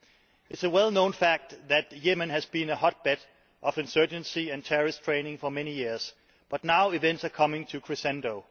It is a well known fact that Yemen has been a hotbed of insurgency and terrorist training for many years but now events are coming to a crescendo.